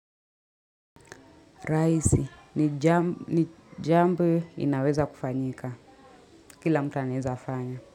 Raisi ni jambo inaweza kufanyika kila mtu aneza afanya.